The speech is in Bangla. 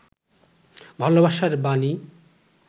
ভালবাসার বাণী